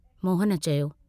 मोहन चयो।